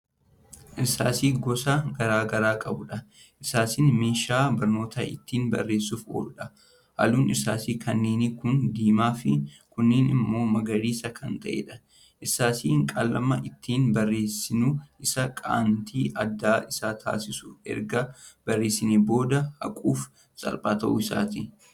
Irsaasii gosa garagaraa qabuudha. irsaasiin meeshaa barnoota ittiin barreessuuf ooludha. halluun irsaasii kanneenii kuunnin diimaa Fi kuunnin immoo magariisa Kan taa'eedha. irsaasii qalama ittiin barreessinu issaa qanti adda Isa taasisu erga barreessineen booda haquuf salphaa ta'uu isaati.